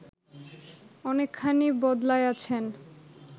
অনেকখানি বদলাইয়াছেন